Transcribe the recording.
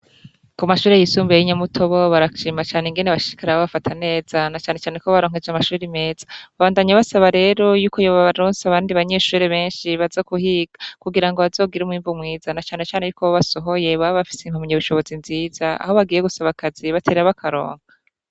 Ku mashure yisumbiye yinyamuto bo barashima cane ingene bashikara abo bafatanezanacaneaneko baronkeje amashuri meza babandanya basaba rero yuko yoba baronsi abandi banyeshore benshi baza kuhiga kugira ngo bazogira umwimvu mwizanacanecane yuko bobasohoye babafise impamyeibushobozi nziza aho bagiye gusaba akazi batera aba akaronka.